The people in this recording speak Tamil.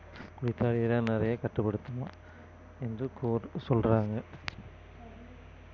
குளித்தால் இளநரையை கட்டுப்படுத்துமாம் என்று கூர்~ சொல்றாங்க